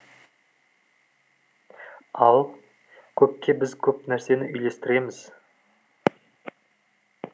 ал көкке біз көп нәрсені үйлестіреміз